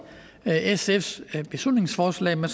sfs beslutningsforslag men